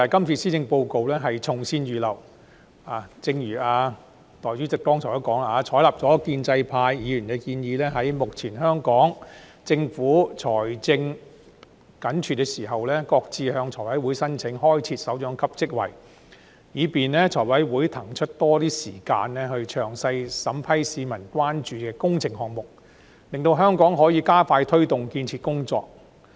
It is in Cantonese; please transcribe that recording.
正如代理主席剛才所說，採納了建制派議員的建議，在目前香港政府財政緊絀的時候，擱置向財務委員會申請開設首長級職位，以便財委會騰出較多時間詳細審批市民關注的工程項目，令香港可以加快推動建設工作。